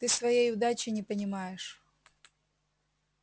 ты своей удачи не понимаешь